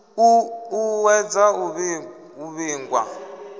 u ṱu ṱuwedza u vhigwa